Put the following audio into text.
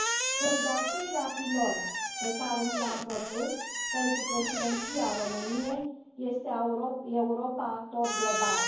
Cel de al treilea pilon pe care ni l am propus pentru Președinția României este Europa actor global.